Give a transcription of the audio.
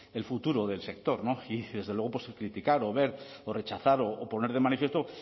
el futuro del sector y desde luego pues criticar o ver o rechazar o poner de manifiesto